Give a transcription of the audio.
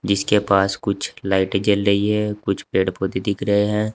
इसके पास कुछ लाइटें जल रही है कुछ पेड़ पौधे दिख रहे हैं।